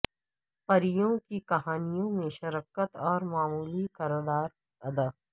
پریوں کی کہانیوں میں شرکت اور معمولی کردار ادا